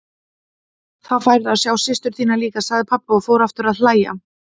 Þá færðu að sjá systur þína líka, sagði pabbi og fór aftur að hlæja.